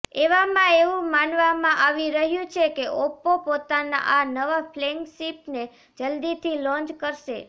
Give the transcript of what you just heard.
એવામાં એવું માનવામાં આવી રહ્યું છે કે ઓપ્પો પોતાનાં આ નવા ફ્લૈગશિપને જલ્દીથી લોન્ચ કરશે